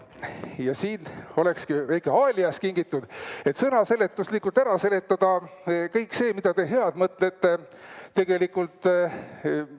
Ja siin ongi väike "Alias" kingituseks, et sõnaseletuslikult ära seletada kõik see, mis head te mõtlete tegelikult korda saata.